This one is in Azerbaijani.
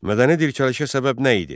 Mədəni dirçəlişə səbəb nə idi?